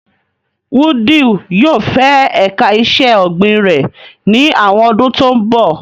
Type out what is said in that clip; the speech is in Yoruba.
Wudil yóò fẹ ẹ̀ka iṣẹ́ ọ̀gbìn rẹ̀ ní àwọn ọdún tó ń bọ̀.